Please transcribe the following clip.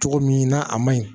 Cogo min na a ma ɲi